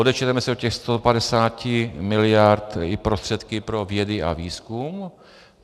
Odečteme si od těch 150 miliard i prostředky pro vědu a výzkum.